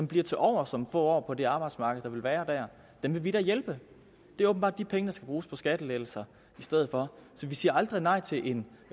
bliver tilovers om få år på det arbejdsmarked der vil være der dem vil vi da hjælpe det er åbenbart de penge der skal bruges på skattelettelser i stedet for vi siger aldrig nej til en